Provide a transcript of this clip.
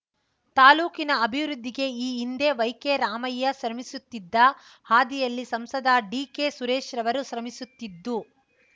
ತಾಲ್ಲೂಕಿನ ಅಭಿವೃದ್ಧಿಗೆ ಈ ಹಿಂದೆ ವೈಕೆ ರಾಮಯ್ಯ ಶ್ರಮಿಸುತ್ತಿದ್ದ ಹಾದಿಯಲ್ಲಿ ಸಂಸದ ಡಿಕೆ ಸುರೇಶ್‍ರವರು ಶ್ರಮಿಸುತ್ತಿದ್ದು